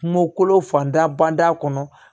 Kungo kolo fanda banda kɔnɔ